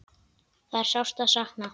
Það er sárt að sakna.